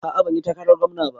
A'a banyi takarar gwamna ba